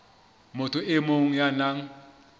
motho e mong ya nang